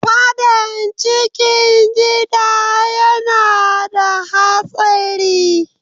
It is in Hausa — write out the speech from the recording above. Fadan cikin Gida yana da Hatsari.